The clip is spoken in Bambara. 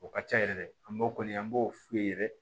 O ka ca yɛrɛ dɛ an b'o kɔni an b'o f'u ye yɛrɛ